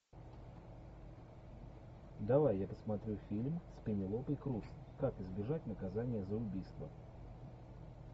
давай я посмотрю фильм с пенелопой крус как избежать наказания за убийство